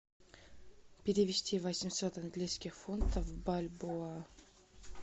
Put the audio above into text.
перевести восемьсот английских фунтов в бальбоа